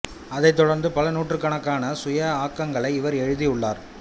அதைத் தொடர்ந்து பல நூற்றுக்கணக்கான சுய ஆக்கங்களை இவர் எழுதியுள்ளார்